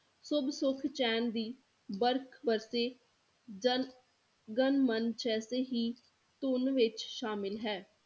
ਸੁਭ ਸੁਖ ਚੈਨ ਦੀ ਤੇ ਜਨ ਗਨ ਮਨ ਜੈਸੇ ਹੀ ਧੁੰਨ ਵਿੱਚ ਸ਼ਾਮਿਲ ਹੈ